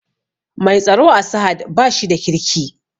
Mai tsaro a sahad bashi da kirki